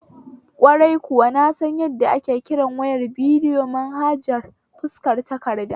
Kwarai kuwa, na san yadda ake kiran wayar bidiyo manhajar fuskar takarda